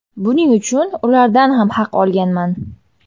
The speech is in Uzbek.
Buning uchun ulardan ham haq olganman.